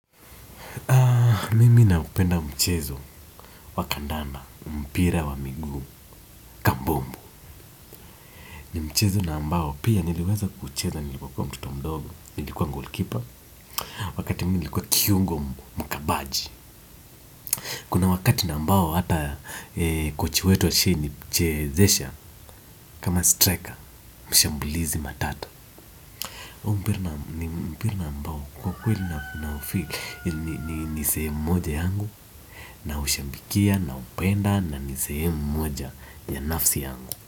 Mimi naupenda mchezo wa kandanda mpira wa miguu kabumbu ni mchezo na ambao pia niliweza kuucheza nilipokuwa mtoto mdogo nilikuwa golkipa wakati nilikuwa kiungo mkabaji kuna wakati na ambao ata kochi wetu ashawai nichezesha kama striker mshambulizi matata mpira ambao kwa kweli na kuna ufi ni nisehemu moja yangu naushabikia naupenda na ni sehemu moja binafsi yangu.